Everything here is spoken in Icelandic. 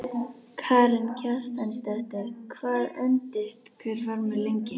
Karen Kjartansdóttir: Hvað endist hver farmur lengi?